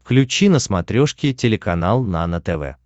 включи на смотрешке телеканал нано тв